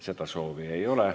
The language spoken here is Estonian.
Seda soovi ei ole.